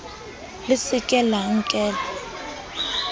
le se ke la nkella